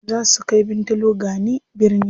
Zaa su kai Bintalo gani birni.